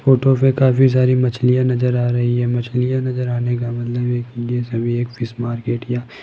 photo पे काफी सारी मछलियां नजर आ रही है मछलियां नजर आने का मतलब ये ये सभी एक फिश मार्केट या --